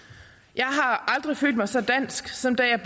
jeg har aldrig følt mig så dansk som da jeg